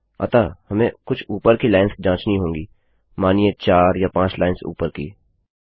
अतः हमें कुछ ऊपर की लाइन्स जाँचनी होंगी मानिए 4 या 5 लाइन्स ऊपर की